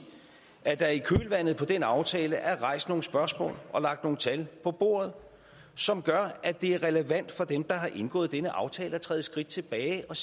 at der i kølvandet på den aftale er rejst nogle spørgsmål og lagt nogle tal på bordet som gør at det er relevant for dem der har indgået denne aftale at træde et skridt tilbage og